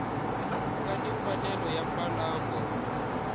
nga ni mfanelo ya mbalango